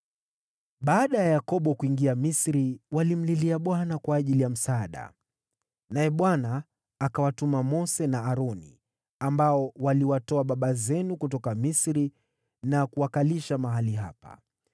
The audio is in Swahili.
“Baada ya Yakobo kuingia Misri, walimlilia Bwana kwa ajili ya msaada, naye Bwana akawatuma Mose na Aroni, ambao waliwatoa baba zenu kutoka Misri na kuwakalisha mahali hapa.